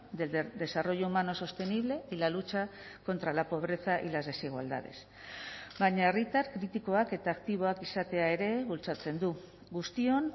del desarrollo humano sostenible y la lucha contra la pobreza y las desigualdades baina herritar kritikoak eta aktiboak izatea ere bultzatzen du guztion